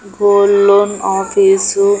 gold loan office --